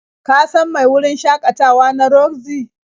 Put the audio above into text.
Ka san mai wurin shakatawa na Roxy?